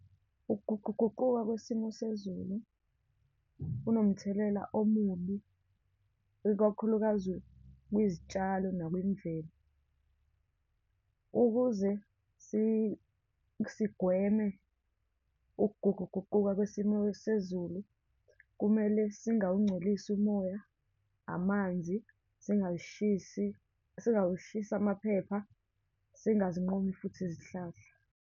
Ukuguquguquka kwesimo sezulu kunomthelela omubi, ikakhulukazi kwizitshalo nakwimvelo. Ukuze sigweme ukuguquguquka kwesimo sezulu, kumele singawungcolisi umoya, amanzi, singayishisi, singawashisi amaphepha, singazinqumi futhi izihlahla.